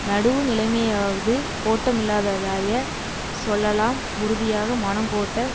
நடுவுநிலைமையாவது கோட்டமில்லாததாய சொல்லாம் உறுதியாக மனக்கோட்ட